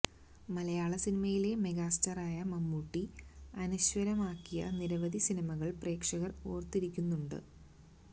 മലയാള സിനിമയിലെ മെഗാസ്റ്റാറായ മമ്മൂട്ടി അനശ്വരമാക്കിയ നിരവധി സിനിമകള് പ്രേക്ഷകര് ഓര്ത്തിരിക്കുന്നുണ്ട്